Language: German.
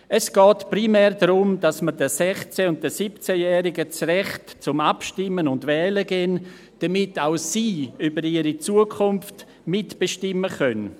Es geht primär darum, dass wir den 16- und den 17-Jährigen das Recht zum Abstimmen und Wählen geben, damit auch über ihre Zukunft mitbestimmen können.